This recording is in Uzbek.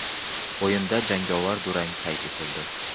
O‘yinda jangovar durang qayd etildi.